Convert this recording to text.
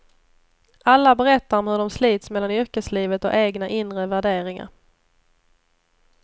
Alla berättar om hur de slits mellan yrkeslivet och egna inre värderingar.